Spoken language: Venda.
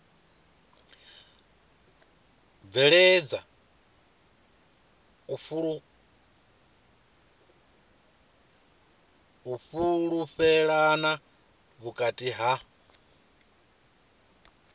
bveledza u fhulufhelana vhukati ha